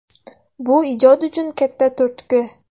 Bu ijod uchun katta turtki”.